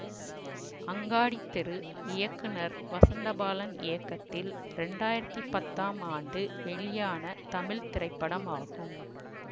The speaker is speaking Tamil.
அங்காடித் தெரு இயக்குநர் வசந்தபாலன் இயக்கத்தில் இரண்டாயிரத்தி பத்தாம் ஆண்டு வெளியான தமிழ் திரைப்படம் ஆகும்